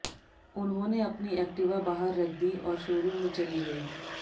उन्होंने अपनी एक्टिवा बाहर रख दी और शोरूम में चली गई